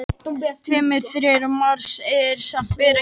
Tveir af þremur gígum á Mars sem bera íslensk bæjarnöfn.